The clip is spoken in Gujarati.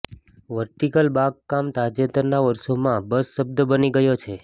વર્ટિકલ બાગકામ તાજેતરના વર્ષોમાં બઝ શબ્દ બની ગયો છે